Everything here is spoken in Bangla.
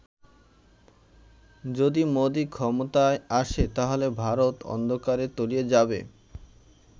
যদি মোদি ক্ষমতায় আসে, তাহলে ভারত অন্ধকারে তলিয়ে যাবে